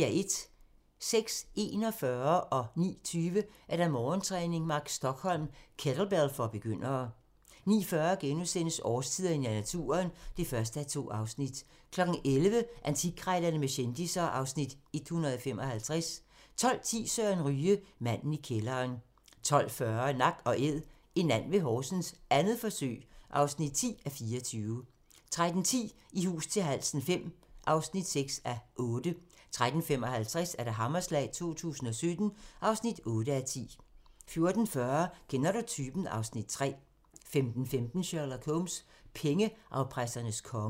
06:41: Morgentræning: Mark Stokholm – kettlebell for begyndere 09:20: Morgentræning: Mark Stokholm – kettlebell for begyndere 09:40: Årstiderne i naturen (1:2)* 11:00: Antikkrejlerne med kendisser (Afs. 155) 12:10: Søren Ryge: Manden i kælderen 12:40: Nak & Æd – en and ved Horsens, 2. forsøg (10:24) 13:10: I hus til halsen V (6:8) 13:55: Hammerslag 2017 (8:10) 14:40: Kender du typen? (Afs. 3) 15:15: Sherlock Holmes: Pengeafpressernes konge